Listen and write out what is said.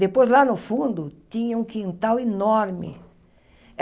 Depois, lá no fundo, tinha um quintal enorme.